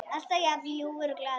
Alltaf jafn ljúfur og glaður.